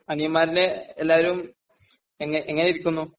അനിയന്മാരില് എല്ലാരും എങ്ങനെയിരിക്കുന്നു?